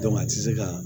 a tɛ se ka